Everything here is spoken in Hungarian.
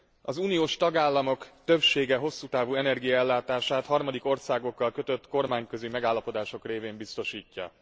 Az uniós tagállamok többsége hosszú távú energiaellátását harmadik országokkal kötött kormányközi megállapodások révén biztosítja.